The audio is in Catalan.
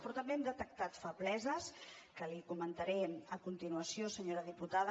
però també hem detectat febleses que li comentaré a continuació senyora diputada